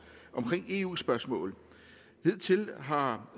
i eu spørgsmål hidtil har